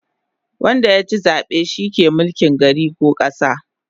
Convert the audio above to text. Wanda yachi zabe shi ke mulkin gari ko kasa